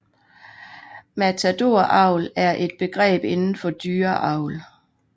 Matadoravl er et begreb indenfor dyreavl